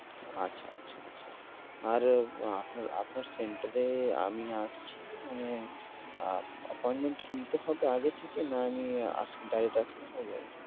আচ্ছা, আচ্ছা আচ্ছা। আরে আপনার আপনার center এ আমি আসছি। মানে appointment কি নিতে হবে আগে থেকে না নিয়ে আসলে direct আসলে হয়ে যাবে?